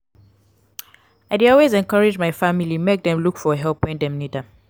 i dey always encourage my family make dem look for help wen dem need am.